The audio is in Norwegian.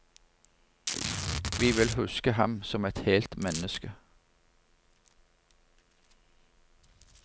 Vi vil huske ham som et helt menneske.